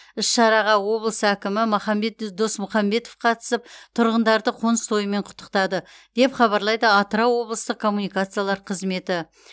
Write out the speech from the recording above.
іс шараға облыс әкімі махамбет досмұхамбетов қатысып тұрғындарды қоныс тойымен құттықтады деп хабарлайды атырау облыстық коммуникациялар қызметі